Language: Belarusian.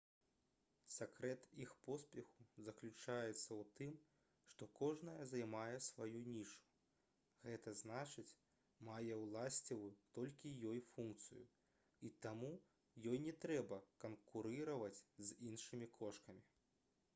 сакрэт іх поспеху заключаецца ў тым што кожная займае сваю нішу г зн мае ўласціваю толькі ёй функцыю і таму ёй не трэба канкурыраваць з іншымі кошкамі